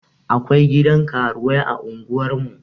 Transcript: Akwai gidan karuwai a unguwar mu